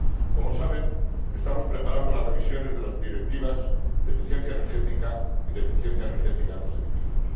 Como saben, estamos preparando las revisiones de las Directivas de eficiencia energética y de eficiencia energética en los edificios.